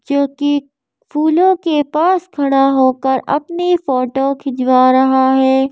जो कि फूलों के पास खड़ा होकर अपनी फोटो खिंचवा रहा है।